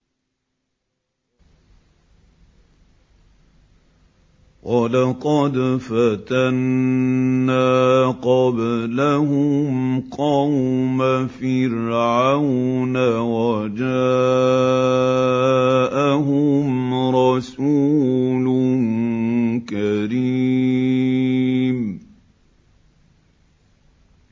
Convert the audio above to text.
۞ وَلَقَدْ فَتَنَّا قَبْلَهُمْ قَوْمَ فِرْعَوْنَ وَجَاءَهُمْ رَسُولٌ كَرِيمٌ